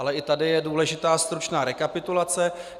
Ale i tady je důležitá stručná rekapitulace.